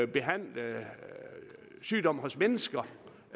behandle sygdom hos mennesker